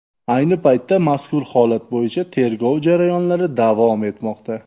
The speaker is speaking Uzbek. Ayni paytda mazkur holat bo‘yicha tergov jarayonlari davom etmoqda.